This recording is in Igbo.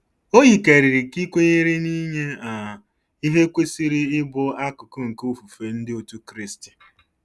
O yikarịrị ka ị kwenyere na inye um ihe kwesịrị ịbụ akụkụ nke ofufe Ndị Otù Kristi.